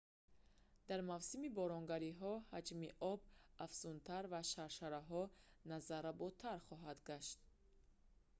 дар мавсими боронгариҳо ноябр то март ҳаҷми об афзунтар ва шаршараҳо назарработар хоҳанд гашт